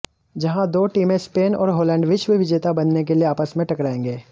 जहां दो टीमें स्पेन और हॉलैंड विश्वविजेता बनने के लिए आपस में टकरायेंगे